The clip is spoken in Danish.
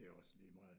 Det er også ligemeget